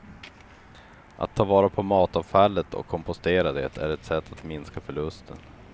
Att ta vara på matavfallet och kompostera det är ett sätt att minska förlusten.